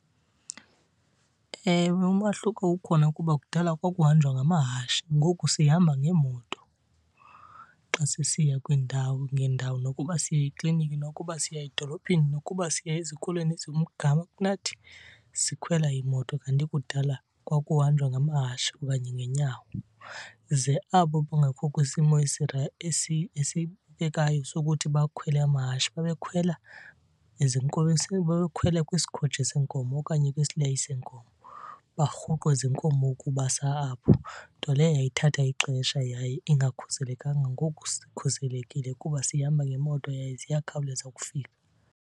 Ewe, umahluko ukhona kuba kudala kwakuhanjwa ngamahashi, ngoku sihamba ngeemoto xa sisiya kwiindawo ngeendawo. Nokuba siya ekliniki, nokuba siya edolophini, nokuba siya ezikolweni ezikumgama kunathi sikhwela imoto. Kanti kudala kwakuhanjwa ngamahashi okanye ngeenyawo. Ze abo bangekho kwisimo sokuthi bakhwele amahashi babekhwela ezinkomeni, babekhwela kwisikhotshi seenkomo okanye kwisileyi seenkomo barhuqwe zinkomo ukubasa apho. Nto leyo yayithatha ixesha yaye ingakhuselekanga. Ngoku sikhuselekile kuba sihamba ngeemoto yaye ziyakhawuleza ukufika.